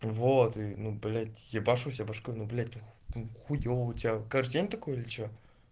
вот ну блять уебался башкой ну блять хуева у тебя каждый день такой или чё